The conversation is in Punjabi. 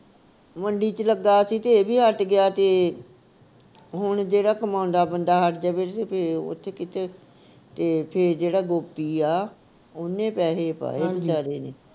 ਮੰਡੀ ਵਿਚ ਲੱਗਾ ਸੀ ਤੇ ਇਹ ਵੀ ਹੱਟ ਗਿਆ ਤੇ ਹੁਣ ਜਿਹੜਾ ਕਮਾਦਾ ਬੰਦਾ ਹੱਟ ਜਾਵੇ ਤੇ ਫਿਰ ਉਥੇ ਕਿਥੇ ਤੇ ਫਿਰ ਜਿਹੜਾ ਗੋਪੀ ਆ ਉਹਨੇ ਪੈਹੇ ਪਾਏ ਵਿਚਾਰੇ ਨੇ